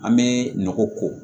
An bɛ nɔgɔ ko